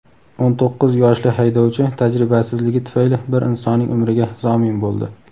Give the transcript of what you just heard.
O‘n to‘qqiz yoshli haydovchi tajribasizligi tufayli bir insonning umriga zomin bo‘ldi.